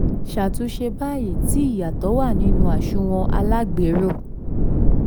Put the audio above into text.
ṣàtúnṣe báyìí tí ìyàtọ̀ wà nínú àsunwon alágbèéró.